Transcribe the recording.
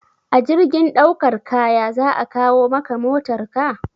A jirgin daukar kaya za a kawo maka motarka?